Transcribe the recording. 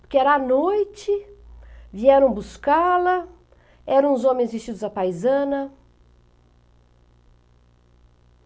Porque era à noite, vieram buscá-la, eram os homens vestidos à paisana.